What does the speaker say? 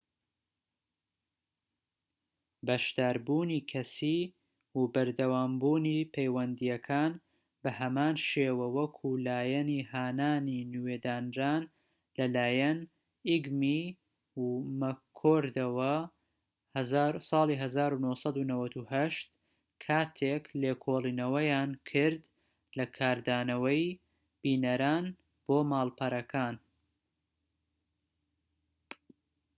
"بەشداربوونی کەسیی و بەردەوامبوونی پەیوەندیەکان بە هەمان شێوە وەکو لایەنی هانانی نوێ دانران لەلایەن ئیگمی و مەککۆردەوە ١٩٩٨ کاتێك لێکۆڵێنەوەیان کرد لە کاردانەوەی بینەران بۆ ماڵپەڕەکان